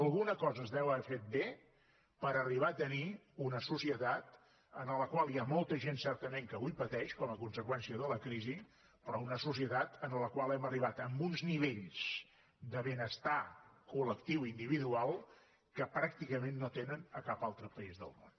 alguna cosa es deu haver fet bé per arribar a tenir una societat en la qual hi ha molta gent certament que avui pateix com a conseqüència de la crisi però una societat en la qual hem arribat a uns nivells de benestar col·tenen a cap altre país del món